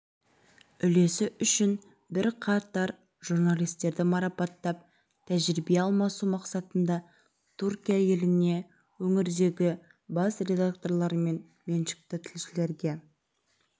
үлесі үшін бірқатар журналистерді марапаттап тәжірибе алмасу мақсатында түркия еліне өңірдегі бас редакторлармен меншікті тілшілерге